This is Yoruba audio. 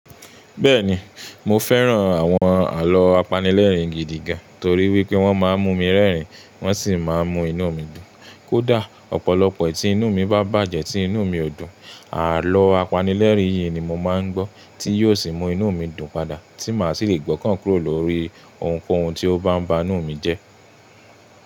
Bẹ́ẹ̀ni, mo fẹ́ràn àwọn àlọ́ apanilẹ́rìn-gidi gan-an torí wípé wọ́n máa ń mú mi rẹ́rìn wọ́n sì máa ń mú inú mi dùn. Kódà ọ̀pọ̀lọpọ̀ ẹ̀tí inú mi bá bàjẹ́ tí inú mi ò dùn, àlọ́ apanilẹ́rìn yìí ni mo máa ń gbọ́ tí yóò sì mú inú mi dùn padà tí màá sì lè gbọ́ káǹkúrò lórí ohunkóhun tí ó bá ń ba inú mi jẹ́.